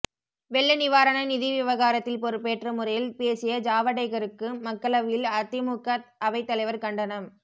வெள்ள நிவாரண நிதி விவகாரத்தில் பொறுப்பற்ற முறையில் பேசிய ஜாவடேகருக்கு மக்களவையில் அதிமுக அவைத்தலைவர் கண்டனம்